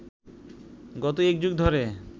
গত একযুগ ধরে